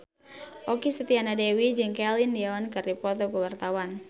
Okky Setiana Dewi jeung Celine Dion keur dipoto ku wartawan